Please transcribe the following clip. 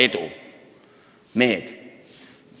Mehed!